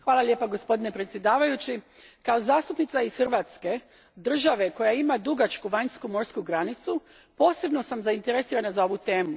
Gospodine predsjedavajući, kao zastupnica iz Hrvatske, države koja ima dugačku vanjsku morsku granicu, posebno sam zainteresirana za ovu temu.